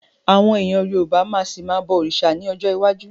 Àwọn èèyàn Yorùbá máa ṣì ma bọ̀ òrìṣà ní ọjọ́ iwájú